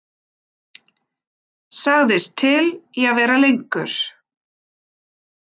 Sagðist til í að vera lengur.